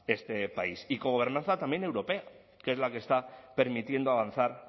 este país y cogobernanza también europea que es la que está permitiendo avanzar